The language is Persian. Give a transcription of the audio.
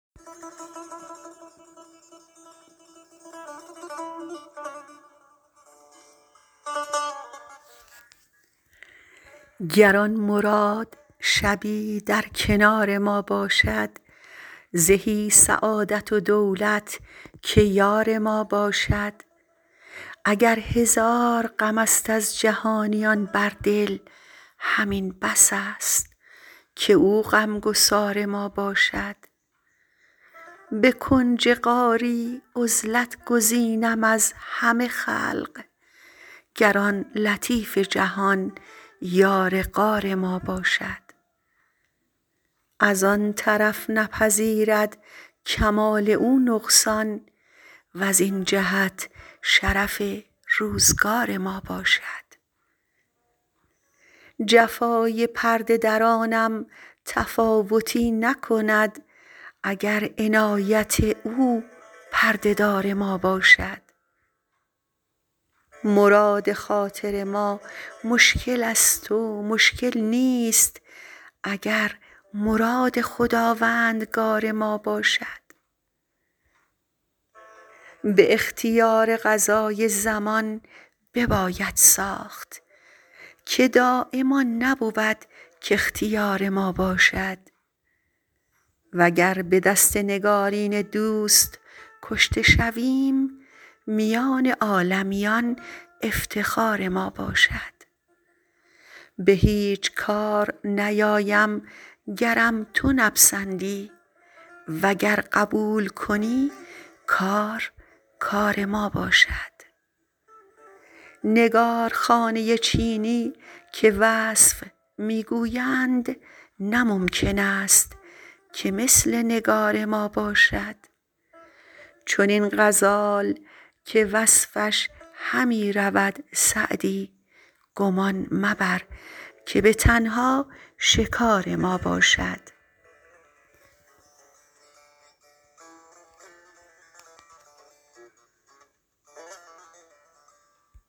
گر آن مراد شبی در کنار ما باشد زهی سعادت و دولت که یار ما باشد اگر هزار غم است از جهانیان بر دل همین بس است که او غم گسار ما باشد به کنج غاری عزلت گزینم از همه خلق گر آن لطیف جهان یار غار ما باشد از آن طرف نپذیرد کمال او نقصان وزین جهت شرف روزگار ما باشد جفای پرده درانم تفاوتی نکند اگر عنایت او پرده دار ما باشد مراد خاطر ما مشکل است و مشکل نیست اگر مراد خداوندگار ما باشد به اختیار قضای زمان بباید ساخت که دایم آن نبود کاختیار ما باشد وگر به دست نگارین دوست کشته شویم میان عالمیان افتخار ما باشد به هیچ کار نیایم گرم تو نپسندی وگر قبول کنی کار کار ما باشد نگارخانه چینی که وصف می گویند نه ممکن است که مثل نگار ما باشد چنین غزال که وصفش همی رود سعدی گمان مبر که به تنها شکار ما باشد